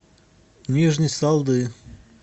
нижней салды